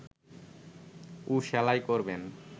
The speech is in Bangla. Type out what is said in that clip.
ও সেলাই করবেন